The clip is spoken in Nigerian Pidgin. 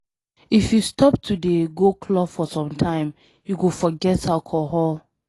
If you stop to dey go club for some time you go forget alcohol.